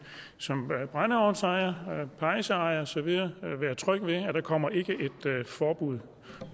som brændeovnsejer pejseejer og så videre være tryg ved at der ikke kommer et forbud